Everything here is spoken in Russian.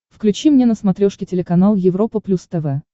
включи мне на смотрешке телеканал европа плюс тв